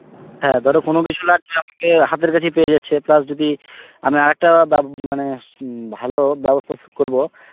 হ্যাঁ ধরো কোন কিছু লাগবে, আমাকে হাতের কাছেই পেয়ে যাচ্ছে plus যদি আমি আর একটা বাব~ মানে উম ভালো ব্যবস্থা স~ করব